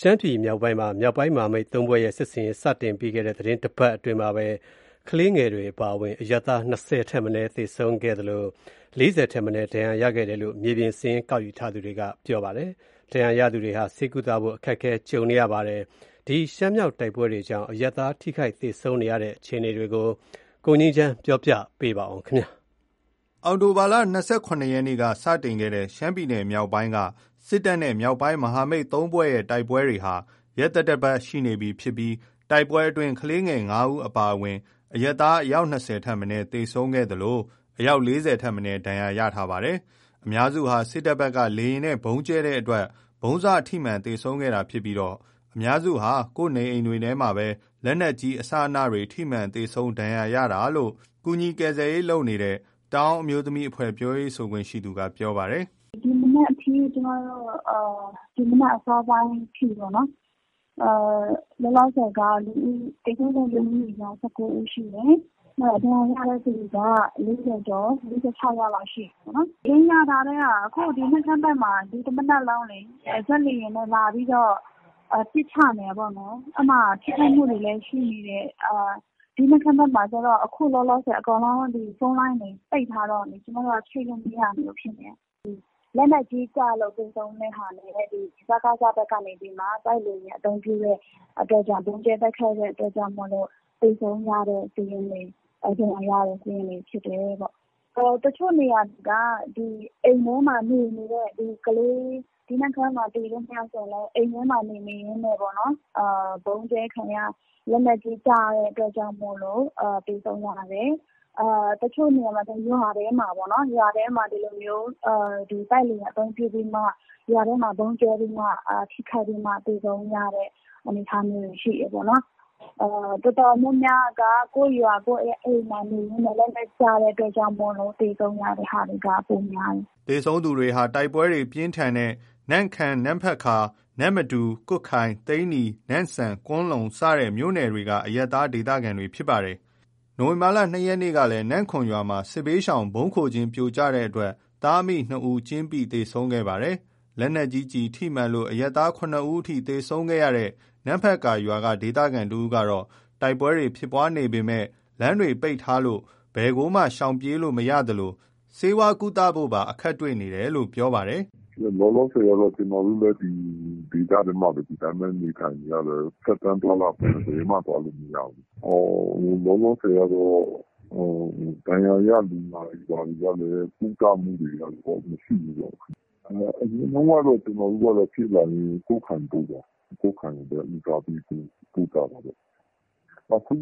ရှမ်းပြည် မြောက်ပိုင်းမှာ မြောက်ပိုင်း မဟာမိတ် ၃ ဖွဲ့ရဲ့ စစ်ဆင်ရေး စတင်ခဲ့ပြီး သီတင်းတပတ် အတွင်းမှာပဲ ကလေးငယ်တွေ အပါအဝင် အရပ်သား ၂၀ ထက် မနည်း သေဆုံးခဲ့သလို ၄၀ ထက် မနည်း ဒဏ်ရာရှိခဲ့တယ်လို့ မြေပြင် စာရင်း ကောက်ယူထားသူတွေက ပြောပါတယ်။ ဒဏ်ရာ ရသူတွေဟာ ဆေးကုသမှုခံယူဖို့ အခက်အခဲကြုံ နေရတာပါ။ ရှမ်းမြောက်တိုက်ပွဲတွေကြောင့် အရပ်သား ထိခိုက်သေဆုံးရတဲ့ အခြေအနေတွေကို ကိုငြိမ်းချမ်း ကပြောပြပါမယ်။ အောက်တိုဘာ ၂၇ ရက်ကစတဲ့ ရှမ်းပြည်မြောက်ပိုင်းက စစ်တပ်နဲ့ မြောက်ပိုင်း မဟာမိတ် ၃ ဖွဲ့တို့ရဲ့ တိုက်ပွဲဟာ ရက်သတ္တပတ် ရှိနေပြီဖြစ်ပြီး တိုက်ပွဲအတွင်း ကလေးငယ် ၅ ဦး အပါအဝင် အရပ်သား ၂၀ ထက် မနည်း သေဆုံးခဲ့သလို အယောက် ၄၀ ထက်မနည်းလည်း ဒဏ်ရာရရှိထားတာပါ။ အများစုဟာ စစ်တပ်ဘက်က လေယာဉ်နဲ့ ဗုံးကြဲတဲ့အတွက် ဗုံးစထိမှန် သေဆုံးခဲ့တာ ဖြစ်ပြီး အများစုဟာ ကိုယ့်နေအိမ်တွေ ထဲမှာပဲ လက်နက်ကြီး အစအနတွေ ထိမှန်သေဆုံး ဒဏ်ရာရတာလို့ ကူညီကယ်ဆယ်ရေး လုပ်နေတဲ့ တအာင်း အမျိုးသမီးအဖွဲ့ ပြောရေးဆိုခွင့်ရှိသူက ပြောပါတယ်။ "ဒီမနက် အစောပိုင်းအထိ လောလောဆယ် သေဆုံးသူ ၁၉ ဦး ရှိတယ်။ ဒဏ်ရာရတဲ့သူက ၄၀ ကျော် ၄၆ ယောက်လောက်ရှိတယ်။ နမ့်ခမ်းဘက်မှာ ဒီတမနက်လုံး ဂျက်လေယာဉ်နဲ့ လာပြီးတော့ ပစ်ချနေတယ်ပေါ့နော်။ အဲ့မှာ ထိခိုက်မှုတွေလည်း ရှိနေတယ်။ နမ့်ခမ်းဘက်မှာ အခုလောလောဆယ် ဖုန်းလိုင်းတွေ ပိတ်ထားတော့ ချိတ်မရဘူးဖြစ်နေတယ်။ တော်တော်များများက လက်နက်ကြီးကျလို့ သေဆုံးတဲ့ဟာနဲ့ စကစ ဘက်က တိုက်လေယာဉ် အသုံးပြုတဲ့အတွက်ကြောင့် ဗုံးကြဲတဲ့ အတွက်ကြောင့် သေဆုံးတဲ့ စာရင်းတွေ ဒဏ်ရာ ရတဲ့စာရင်းတွေဖြစ်တယ်ပေါ့။ တချို့နေရာက အိမ်ထဲမှာ နေနေတဲ့ကလေးတွေ နမ့်ခမ်းမှာ သေတဲ့ကလေးတွေဆို အိမ်ထဲမှာ နေနေရင်းပေါ့နော် ဗုံးကြဲခံရ လက်နက်ကြီး ကျတဲ့အတွက်ကြောင့်မို့လို့ သေဆုံးရတယ်။ တချို့နေရာဆို ရွာထဲမှာပေါ့နော် တိုက်လေယာဉ်အသုံးပြုပြီးမှ ရွာထဲမှာ ဗုံးကြဲပြီးမှထိခိုက်ပြီးမှ သေဆုံးရတဲ့ အနေအထားမျိုး တွေရှိတယ်ပေါ့နော်။ တော်တော်များများက ကိုယ့်အိမ်ကိုယ့်ရွာမှာ လက်နက်ကျလို့ သေဆုံးရတာ ပိုများတယ်။" သေဆုံးသူတွေဟာ တိုက်ပွဲတွေ ပြင်းထန်နေတဲ့ နမ့်ခမ်း နမ့်ဖက်ကာ နမ်မတူ ကွတ်ခိုင် သိန္နီ နမ့်ဆန် ကွမ်းလုံ စတဲ့မြို့နယ်တွေက အရပ်သား ဒေသခံတွေ ဖြစ်ပါတယ်။ နိုဝင်ဘာ ၂ ရက်နေ့ကလည်း နမ်ခွန်ရွာမှာ စစ်ဘေးရှောင် ဗုံးခိုကျင်း ပြိုကျတဲ့အတွက် သားအမိ ၂ ဦး ကျင်းပိ သေဆုံးခဲ့ရပါတယ်။ လက်နက်ကြီးကျည် ထိမှန်လို့ အရပ်သား ၇ ဦးအထိ သေဆုံးခဲ့ရတဲ့ နမ်ဖတ်ကာရွာက ဒေသခံတဦးကတော့ တိုက်ပွဲတွေ ဖြစ်ပွါးနေပေမယ့် လမ်းတွေ ပိတ်ထားလို့ ဘယ်ကိုမှ ရှောင်ပြေးလို့ မရသလို ဆေးကုသဖို့ပါ အခက်တွေ့နေတယ်လို့ ပြောပါတယ် "လောလောဆယ် ကျနော်တို့လည်း ဒီဒေသထဲမှာပဲ နေထိုင်နေရတယ်။ ဖြတ်သန်းသွားလာခွင့် ဘယ်မှ သွားလာလို့ မရဘူး။ ဒဏ်ရာရ လူနာတွေဘာတွေကလည်း ကုသမှုတွေကလည်း မရှိဘူးပေါ့။ အရင်တုန်းက ကျွန်တော်တို့က ဖြစ်လာရင် ကွတ်ခိုင်ကိုပို့တယ်။ကွတ်ခိုင်ကို ဦးစားပေးပို့တယ်။ အခု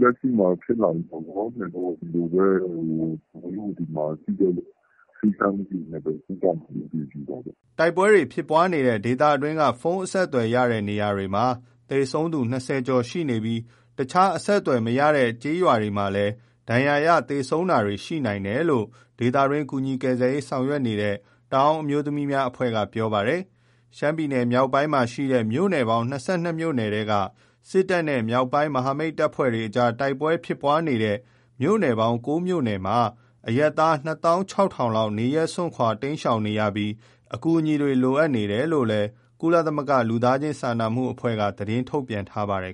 လက်ရှိမှာ ဖြစ်လာရင် လောလောဆယ် ဒီလိုပဲ ဒီမှာရှိတဲ့ ဆေးခန်းလေးတွေနဲ့ပဲ ကုသမှုယူတာပေါ့။" တိုက်ပွဲဖြစ်ပွါးနေတဲ့ ဒေသအတွင်းက ဖုံးအဆက်သွယ်ရတဲ့ နေရာတွေမှာ သေဆုံးသူ ၂၀ ကျော်ရှိနေပြီး အခြား အဆက်အသွယ်မရရှိတဲ့ ကျေးရွာတွေမှာလည်း သေဆုံး ဒဏ်ရာရတာ ရှိနိုင်တယ်လို့လည်း ဒေသတွင်း ကူညီကယ်ဆယ်ရေး ဆောင်ရွက်နေတဲ့ တအာင်းအမျိုးသမီးများ အဖွဲ့က ပြောပါတယ်။ ရှမ်းပြည် မြောက်ပိုင်းမှာ ရှိတဲ့ မြို့ပေါင်း ၂၂ မြို့ နယ်ထဲက စစ်တပ်နဲ့ မြောက်ပိုင်း မဟာမိတ်တပ်ဖွဲ့ တို့ကြား တိုက်ပွဲဖြစ်နေတဲ့ မြို့နယ် ပေါင်း ၉ မြို့နယ်မှာ အရပ်သား ၂၆၀၀၀ လောက် နေရပ် စွန့်ခွါတိမ်းရှောင်နေရပြီး အကူအညီတွေ လိုအပ်နေတယ်လို့ ကုလသမဂ္ဂ လူသားချင်းစာနာမှု အဖွဲ့က သတင်းထုတ်ပြန်ထားပါတယ်